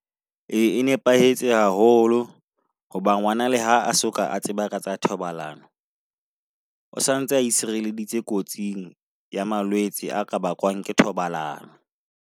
Ee, e nepahetse haholo hoba ngwanale ha soka a tseba ka tsa thobalano, o santse a itshireleditse kotsing ya malwetse a ka bakwang ke thobalano.